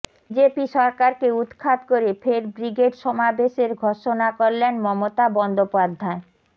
BJP সরকারকে উৎখাত করে ফের ব্রিগেড সমাবেশের ঘোষণা করলেন মমতা বন্দ্যোপাধ্যায়